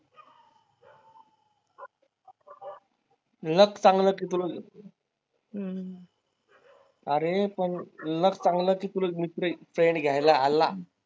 luck चांगलं अरे पण luck चांगलं .